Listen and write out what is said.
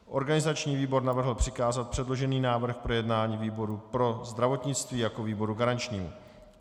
Organizační výbor navrhl přikázat předložený návrh k projednání výboru pro zdravotnictví jako výboru garančnímu.